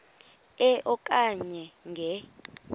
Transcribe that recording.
e okanye nge